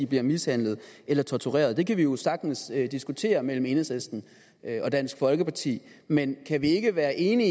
bliver mishandlet eller tortureret det kan vi jo sagtens diskutere mellem enhedslisten og dansk folkeparti men kan vi ikke være enige